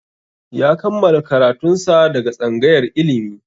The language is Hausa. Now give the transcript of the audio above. Ya kammala karatun sa daga tsangayar ilimi